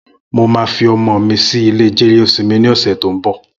Mó mà fi ọmọ mi si ilé jẹléósìmì ni ọsẹ tó n bọ